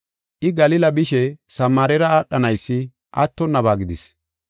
I, Galila bishe Samaarera aadhanaysi attonnaba gidis.